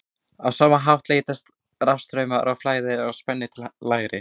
á sama hátt leitast rafstraumur við að flæða frá hærri spennu til lægri